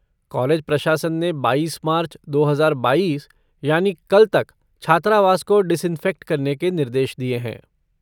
College प्रशासन ने बाईस मार्च, दो हजार बाईस, यानी कल तक छात्रावास को डिसइन्फेक्ट करने के निर्देश दिये हैं।